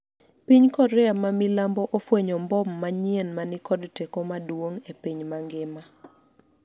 piny Korea ma milambo ofwenyo mbom manyien ma ni kod teko maduong' e piny mangima